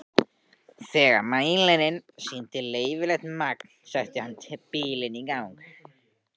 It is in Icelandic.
Þegar mælirinn sýndi leyfilegt magn setti hann bílinn í gang.